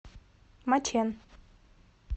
мачэн